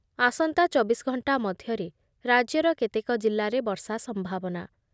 ଆସନ୍ତା ଚବିଶ ଘଣ୍ଟା ମଧ୍ୟରେ ରାଜ୍ୟର କେତେକ ଜିଲ୍ଲାରେ ବର୍ଷା ସମ୍ଭାବନା